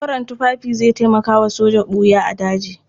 Koren tufafi zai taimaka wa soja ɓuya a daji.